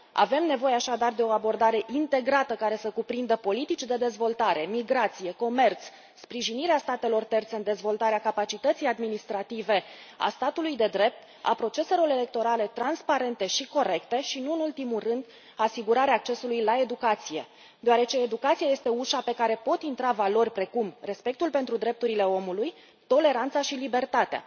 Avem nevoie, așadar, de o abordare integrată, care să cuprindă politici de dezvoltare, migrație, comerț, sprijinirea statelor terțe în dezvoltarea capacității administrative a statului de drept, a proceselor electorale transparente și corecte și, nu în ultimul rând, asigurarea accesului la educație, deoarece educația este ușa pe care pot intra valori precum respectul pentru drepturile omului, toleranța și libertatea.